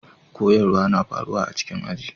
Koyarswa na faruwa a cikin aji.